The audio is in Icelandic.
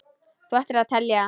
Þú ættir að telja það.